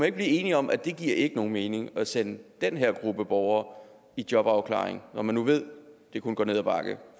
ikke blive enig om at det ikke giver nogen mening at sende den her gruppe borgere i jobafklaring når man nu ved at det kun går ned ad bakke